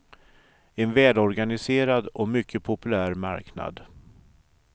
En välorganiserad och mycket populär marknad.